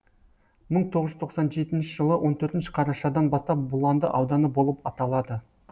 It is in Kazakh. мың тоғыз жүз тоқсан жетінші жылы он төртінші қарашадан бастап бұланды ауданы болып аталады